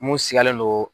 Mun sigilen don